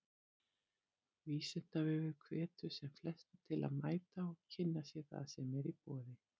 Vísindavefurinn hvetur sem flesta til að mæta og kynna sér það sem í boði er.